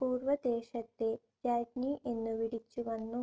പൂർവദേശത്തെ രാജ്ഞി എന്നു വിളിച്ചുവന്നു.